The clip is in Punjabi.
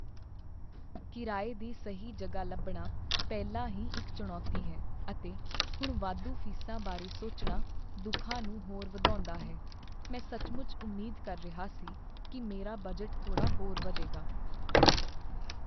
ਕਿਰਾਏ ਦੀ ਸਹੀ ਜਗ੍ਹਾ ਲੱਭਣਾ ਪਹਿਲਾਂ ਹੀ ਇੱਕ ਚੁਣੌਤੀ ਹੈ, ਅਤੇ ਹੁਣ ਵਾਧੂ ਫੀਸਾਂ ਬਾਰੇ ਸੋਚਣਾ ਦੁੱਖਾਂ ਨੂੰ ਹੋਰ ਵਧਾਉਂਦਾ ਹੈ। ਮੈਂ ਸੱਚਮੁੱਚ ਉਮੀਦ ਕਰ ਰਿਹਾ ਸੀ ਕੀ ਮੇਰਾ ਬਜਟ ਥੋੜਾ ਹੋਰ ਵਧੇਗਾ।